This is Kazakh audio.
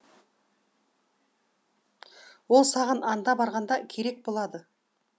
ол саған анда барғанда керек болады